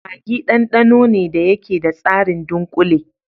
Maggi ɗanɗano ne da yake da tsarin dunkule.